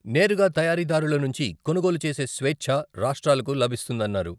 నేరుగా తయారీదారుల నుంచి కొనుగోలు చేసే స్వేచ్ఛ రాష్ట్రాలకు లభిస్తుందన్నారు.